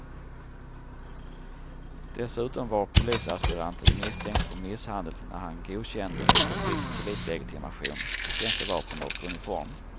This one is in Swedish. Dessutom var polisaspiranten misstänkt för misshandel när han godkändes och fick polislegitimation, tjänstevapen och uniform.